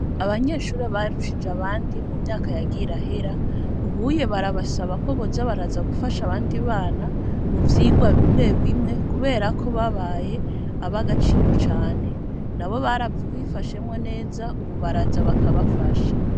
Abanyeshure, barushije abandi, mu myaka yagiye irahera, ubuye barabasaba ko, boza baraza, gufasha abandi bana, mu vyigwa bimwe bimwe, kubera ko, babaye ab'agaciro cane; nabo baravyifashemwo neza, ubu baraza, bakabafasha.